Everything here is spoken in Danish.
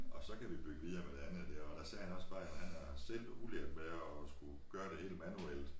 Og så kan vi bygge videre med det andet dér og der sagde han også bare jo han er selv udlært med at skulle gøre det hele manuelt